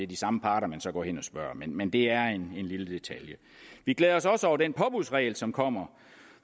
de samme parter man så går hen og spørger men det er en lille detalje vi glæder os også over den påbudsregel som kommer